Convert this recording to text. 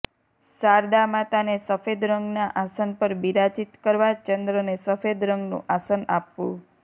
શારદા માતાને સફેદ રંગના આસન પર બિરાજીત કરવા ચંદ્રને સફેદ રંગનુ આસન આપવુ